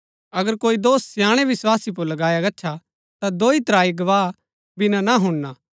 अगर कोई दोष स्याणै विस्वासी पुर लगाया गच्छा ता दोई त्राई गवाह बिना ना हुणना